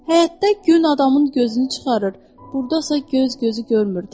Həyətdə gün adamın gözünü çıxarır, burdasa göz gözü görmür.